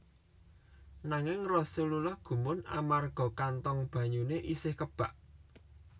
Nanging Rasulullah gumun amarga kantong banyune isih kebak